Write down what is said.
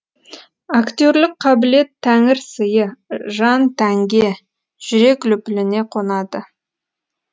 актерлік қабілет тәңір сыйы жан тәнге жүрек лүпіліне қонады